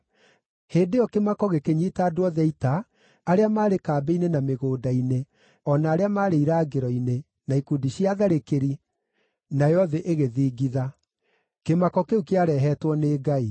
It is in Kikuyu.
Hĩndĩ ĩyo kĩmako gĩkĩnyiita andũ othe a ita, arĩa maarĩ kambĩ-inĩ na mĩgũnda-inĩ, o na arĩa maarĩ irangĩro-inĩ, na ikundi cia atharĩkĩri, nayo thĩ ĩgĩthingitha. Kĩmako kĩu kĩarehetwo nĩ Ngai.